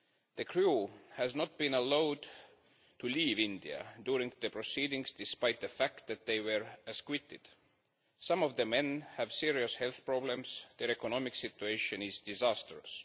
The men have not been allowed to leave India during the proceedings, despite the fact that they were acquitted. Some of them have serious health problems, and their economic situation is disastrous.